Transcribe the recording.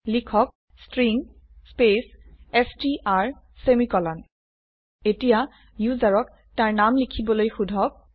লিখক string space str semicolon এতিয়া ইউজাৰক তাৰ নাম লিখবলৈ সোধক